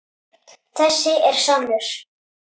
Þessi er sannur.